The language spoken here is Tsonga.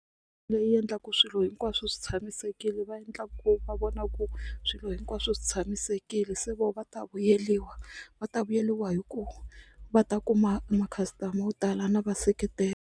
Leyi endlaku swilo hinkwaswo swi tshamisekile va endla ku va vona ku swilo hinkwaswo swi tshamisekile se vona va ta vuyeriwa va ta vuyeriwa hi ku va ta kuma makhastama wo tala na vaseketeli.